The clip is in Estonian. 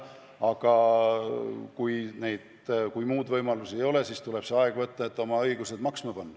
Aga kui muud võimalust ei ole, siis tuleb see aeg võtta, et oma õigused maksma panna.